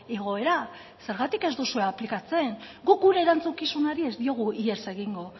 igoera zergatik ez duzue aplikatzen guk gure erantzukizunari ez diogu ihes egingo